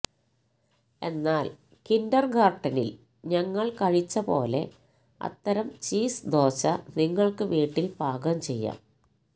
എന്നാൽ കിന്റർഗാർട്ടനിൽ ഞങ്ങൾ കഴിച്ചപോലെ അത്തരം ചീസ് ദോശ നിങ്ങൾക്ക് വീട്ടിൽ പാകം ചെയ്യാം